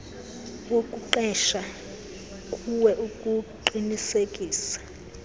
wokuqesha kuwe ukuqinisekisa